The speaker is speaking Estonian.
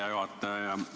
Hea juhataja!